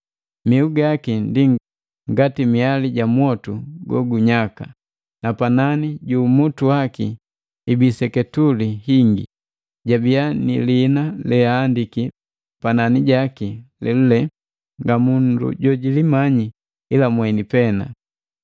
Mihu gaki ndi ngati miali ja mwoti gogunyaka, na panani ju umutu waki ibii seketuli hingi. Jabiya ni lihina leahandiki pananijaki lelule nga mundu jo jilimanyi ila mweni pena.